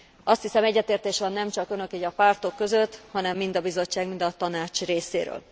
Azt hiszem, hogy egyetértés van nemcsak itt a pártok között, hanem mind a Bizottság, mind a Tanács részéről.